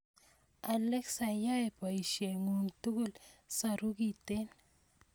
Alexa yai boisionikyuk tugul saru kiten